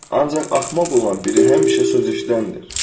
Ancaq axmaq olan biri həmişə söz eşidəndir.